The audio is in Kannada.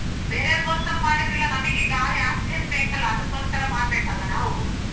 ಬೇರೆ ಅವರೀಗೋಸ್ಕರ ಮಾಡಿದರಲ್ಲಾ ನಮಿಗೆ ಗಾಳಿ oxygen ಬೇಕಲ್ಲ ಅದಕ್ಕೋಸ್ಕರ ಮಾಡಬೇಕಲ್ಲ ನಾವು.